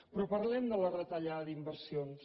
però parlem de la retallada d’inversions